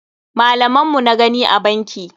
Malaman mu na gani a banki.